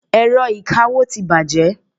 Ẹ̀rọ ìkawó ti bàjẹ́.